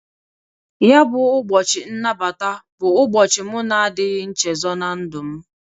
Ya bụ ụbọchị nnabata bụ ụbochị m na-adịghị nchezo na ndụ m.